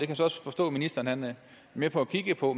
kan så også forstå at ministeren er med på at kigge på